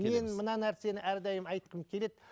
мен мына нәрсені әрдайым айтқым келеді